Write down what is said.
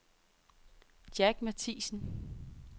Jack Mathiesen